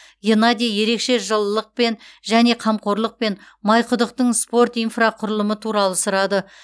геннадий ерекше жылылықпен және қамқорлықпен майқұдықтың спорт инфрақұрылымы туралы сұрады